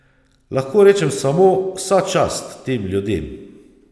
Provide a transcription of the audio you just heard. Lahko rečem samo, vsa čast tem ljudem.